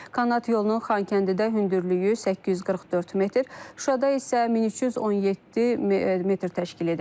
Kanat yolunun Xankəndidə hündürlüyü 844 metr, Şuşada isə 1317 metr təşkil edəcək.